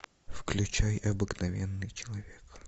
включай обыкновенный человек